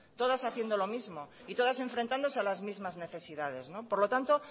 todas haciendo lo mismo y todas enfrentándose a las mismas necesidades por lo tanto